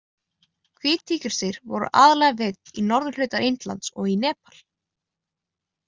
Hvít tígrísdýr voru aðalega veidd í norðuhluta Indlands og í Nepal.